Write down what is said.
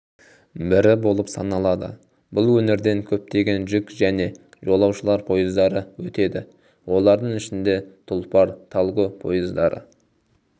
бірі болып саналады бұл өңірден көптеген жүк және жолаушылар пойыздары өтеді олардың ішінде тұлпар-талго пойыздары